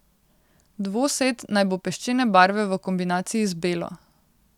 Dvosed naj bo peščene barve v kombinaciji z belo.